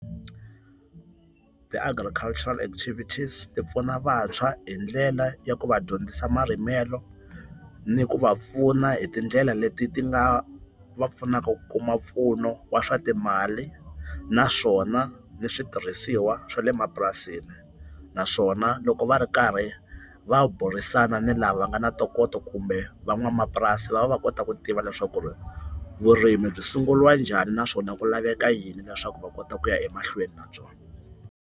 Ti-agricultural activities ti pfuna vantshwa hi ndlela ya ku va dyondzisa marimelo, ni ku va pfuna hi tindlela leti ti nga va pfunaka ku kuma mpfuno wa swa timali naswona ni switirhisiwa swa le mapurasini. Naswona loko va ri karhi va burisana ni lava nga na ntokoto kumbe van'wamapurasi va va va kota ku tiva leswaku ri vurimi byi sungurilwa njhani naswona ku laveka yini leswaku va kota ku ya emahlweni na byona.